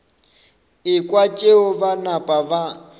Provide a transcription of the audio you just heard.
ekwa tšeo ba napa ba